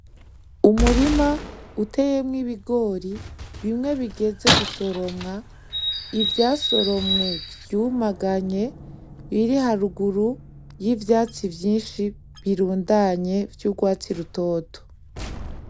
Umurima uteyemwo ibigori bimwe bigeze gusoromwa, ivyasoromwe vyumaganye ibiri haruguru y'ivyatsi vyinshi birundanye vy'urwatsi rutoto.